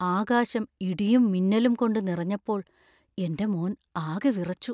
ആകാശം ഇടിയും മിന്നലും കൊണ്ട് നിറഞ്ഞപ്പോൾ എന്‍റെ മോൻ ആകെ വിറച്ചു.